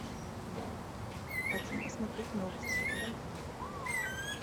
хочу посмотреть новости на первом канале